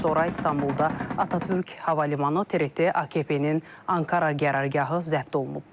Daha sonra İstanbulda Atatürk hava limanı, TRT, AKP-nin Ankara qərargahı zəbt olunub.